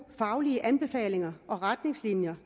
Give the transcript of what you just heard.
faglige anbefalinger og retningslinjer